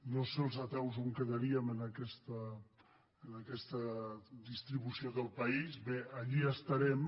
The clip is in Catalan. no sé els ateus on quedaríem en aquesta distribució del país bé allí estarem